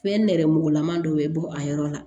Fɛn nɛrɛmugulaman dɔ bɛ bɔ a yɔrɔ la